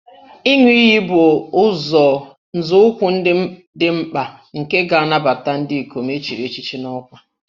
Ịṅụ iyi bụ nzọụkwụ dị mkpa nke ga-anabata ndị ikom e chiri echichi n'ọkwa